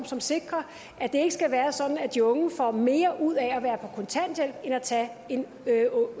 som sikrer at det ikke skal være sådan at de unge får mere ud af at være på kontanthjælp end at tage en